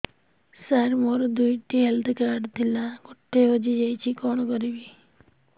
ସାର ମୋର ଦୁଇ ଟି ହେଲ୍ଥ କାର୍ଡ ଥିଲା ଗୋଟେ ହଜିଯାଇଛି କଣ କରିବି